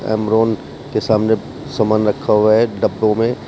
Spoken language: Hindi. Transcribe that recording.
अमरान के सामने सामान रखा हुआ है डब्बों में।